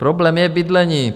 Problém je bydlení.